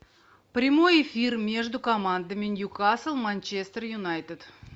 прямой эфир между командами ньюкасл манчестер юнайтед